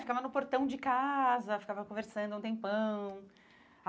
Ficava no portão de casa, ficava conversando um tempão.